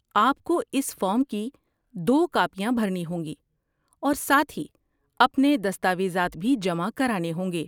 آپ کو اس فارم کی دو کاپیاں بھرنی ہوں گی اور ساتھ ہی اپنے دستاویزات بھی جمع کرانے ہوں گے۔